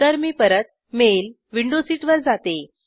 तर मी परत माळे विंडो seatवर जाते